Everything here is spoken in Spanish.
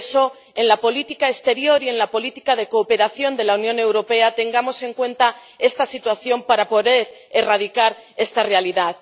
Por eso, en la política exterior y en la política de cooperación de la Unión Europea tengamos en cuenta esta situación para poder erradicar esta realidad.